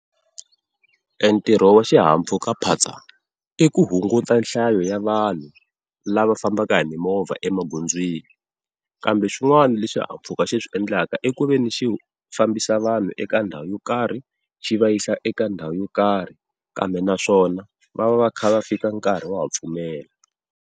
Entirho wa xihahampfhukaphatsa i ku hunguta nhlayo ya vanhu lava fambaka hi mimovha emagondzweni. Kambe swin'wana leswi xihahampfhuka xi swiendlaka i ku veni xi fambisa vanhu eka ndhawu yo karhi xi va yisa eka ndhawu yo karhi, kambe naswona va va va kha va fika nkarhi wa ha pfumela.